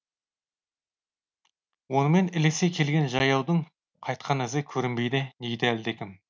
онымен ілесе келген жаяудың қайтқан ізі көрінбейді дейді әлдекім